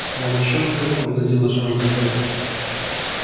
волчонком овладела жажда крови